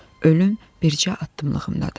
Ölüm bircə addımlığımdadır.